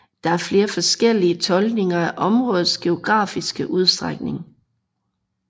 Der er flere forskellige tolkninger af områdets geografiske udstrækning